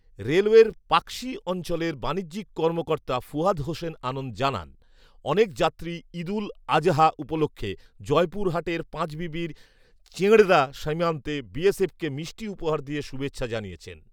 রেলওয়ের পাকশি অঞ্চলের বাণিজ্যিক কর্মকর্তা ফুয়াদ হোসেন আনন্দ জানান, অনেক যাত্রী ঈদুল আযহা উপলক্ষে জয়পুরহাটের পাঁচবিবির চেঢ়ঁড়া সীমান্তে বিএসএফকে মিষ্টি উপহার দিয়ে শুভেচ্ছা জানিয়েছেন